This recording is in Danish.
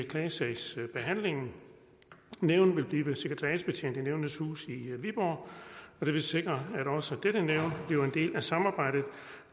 klagesagsbehandlingen nævnet vil blive sekretariatsbetjent i nævnenes hus i viborg og det vil sikre at også dette nævn bliver en del af samarbejdet og